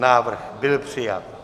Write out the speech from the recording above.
Návrh byl přijat.